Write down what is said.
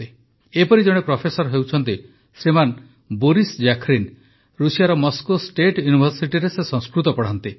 ଏପରି ଜଣେ ପ୍ରଫେସର ହେଉଛନ୍ତି ଶ୍ରୀମାନ ବୋରିସ ଜାଖରିନ ରୁଷିଆର ମସ୍କୋ ଷ୍ଟେଟ୍ ୟୁନିଭର୍ସିଟିରେ ସେ ସଂସ୍କୃତ ପଢ଼ାନ୍ତି